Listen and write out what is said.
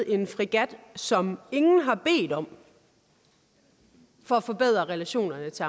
en fregat som ingen har bedt om for at forbedre relationerne til